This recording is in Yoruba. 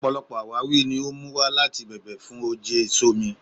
Ọpọlọpọ awawi ni o mu wa lati bẹ̀bẹ̀ fun òjé èso mi